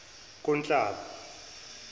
kunhlaba